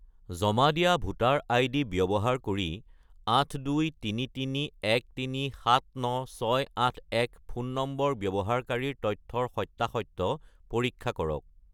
জমা দিয়া voter ID ব্যৱহাৰ কৰি 82331379681 ফোন নম্বৰৰ ব্যৱহাৰকাৰীৰ তথ্যৰ সত্য়াসত্য় পৰীক্ষা কৰক